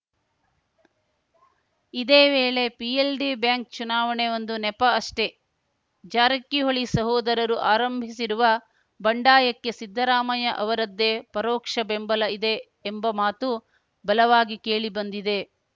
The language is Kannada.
ಇದೇ ವೇಳೆ ಪಿಎಲ್‌ಡಿ ಬ್ಯಾಂಕ್‌ ಚುನಾವಣೆ ಒಂದು ನೆಪ ಅಷ್ಟೇ ಜಾರಕಿಹೊಳಿ ಸಹೋದರರು ಆರಂಭಿಸಿರುವ ಬಂಡಾಯಕ್ಕೆ ಸಿದ್ದರಾಮಯ್ಯ ಅವರದ್ದೇ ಪರೋಕ್ಷ ಬೆಂಬಲ ಇದೆ ಎಂಬ ಮಾತು ಬಲವಾಗಿ ಕೇಳಿಬಂದಿದೆ